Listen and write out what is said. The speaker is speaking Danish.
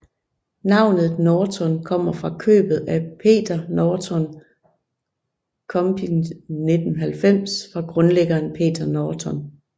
Navnet Norton kommer fra købet af Peter Norton Computing 1990 fra grundlæggeren Peter Norton